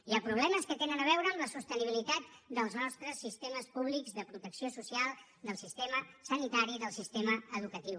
hi ha problemes que tenen a veure amb la sostenibilitat dels nostres sistemes públics de protecció social del sistema sanitari i del sistema educatiu